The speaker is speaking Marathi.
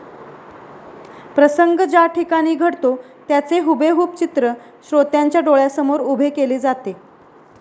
प्रसंग ज्याठिकाणी घडतो त्याचे हुबेहूब चित्र श्रोत्यांच्या डोळ्यासमोर उभे केले जाते